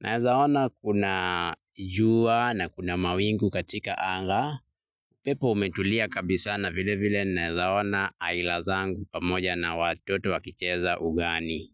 naweza ona kuna jua na kuna mawingu katika anga, upepo umetulia kabisa na vile vile naweza ona aila zangu pamoja na watoto wakicheza ugani.